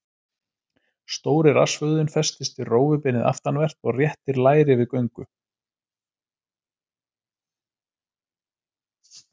Stóri rassvöðvinn festist við rófubeinið aftanvert og réttir læri við göngu.